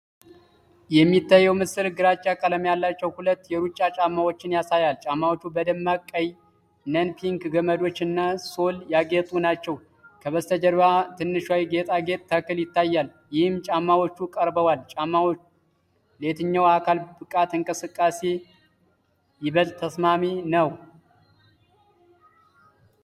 የሚታየው ምስል ግራጫ ቀለም ያላቸው ሁለት የሩጫ ጫማዎችን ያሳያል፤ ጫማዎቹ በደማቅ ቀይ (neon pink) ገመዶች እና ሶል ያጌጡ ናቸው። ከበስተጀርባ ትንሿ የጌጣጌጥ ተክል ይታያል፤ ይህም ጫማዎቹ ቀርበዋል። ጫማ ለየትኛው የአካል ብቃት እንቅስቃሴ ይበልጥ ተስማሚ ነው?